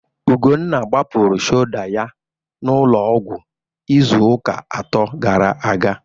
Ugwunna gbapụrụ shoda ya n'ụlọọgwụ izuụka atọ gara aga.